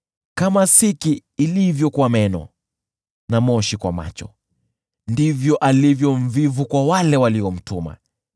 Kama siki ilivyo kwa meno na moshi kwa macho, ndivyo alivyo mvivu kwa wale waliomtuma.